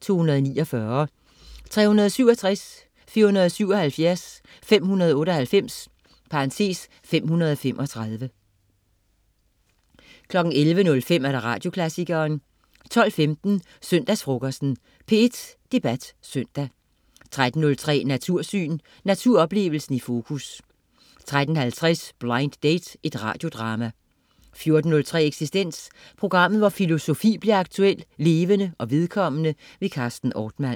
(249), 367, 477, 598 (535) 11.05 Radioklassikeren 12.15 Søndagsfrokosten. P1 Debat Søndag 13.03 Natursyn. Naturoplevelsen i fokus 13.50 Blind date. Radiodrama 14.03 Eksistens. Programmet, hvor filosofi bliver aktuel, levende og vedkommende. Carsten Ortmann